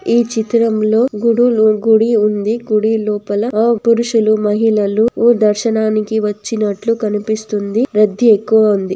ఈ చిత్రంలో గుడులు గుడి ఉంది గుడి లోపల ఆ పురుషులు మహిళలు ఉ దర్శనానికి వచ్చినట్లు కనిపిస్తుంది. రద్ది ఎక్కువ ఉంది.